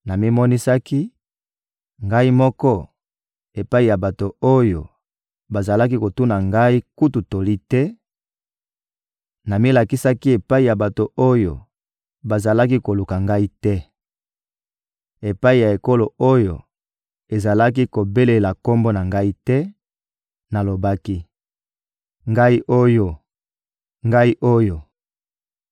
«Namimonisaki, Ngai moko, epai ya bato oyo bazalaki kotuna Ngai kutu toli te, namilakisaki epai ya bato oyo bazalaki koluka Ngai te. Epai ya ekolo oyo ezalaki kobelela Kombo na Ngai te, nalobaki: ‹Ngai oyo, Ngai oyo!›